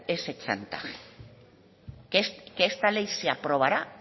ese chantaje que esta ley se aprobará